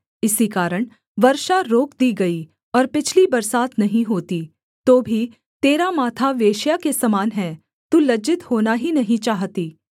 इसी कारण वर्षा रोक दी गई और पिछली बरसात नहीं होती तो भी तेरा माथा वेश्या के समान है तू लज्जित होना ही नहीं चाहती